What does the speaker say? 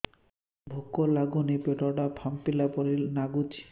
ଭୁକ ଲାଗୁନି ପେଟ ଟା ଫାମ୍ପିଲା ପରି ନାଗୁଚି